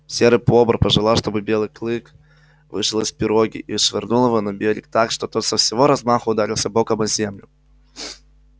серый бобр пожелал чтобы белый клык вышел из пироги и швырнул его на берег так что тот со всего размаху ударился боком о землю